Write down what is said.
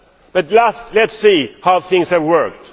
But let us see how things have worked.